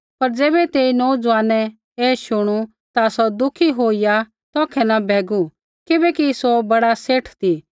पर ज़ैबै तेई नोऊज़वानै ऐ शुणू ता सौ दुखी होईया तौखै न भैगू किबैकि सौ बड़ा सेठ ती